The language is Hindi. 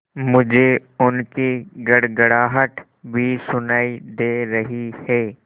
मुझे उनकी गड़गड़ाहट भी सुनाई दे रही है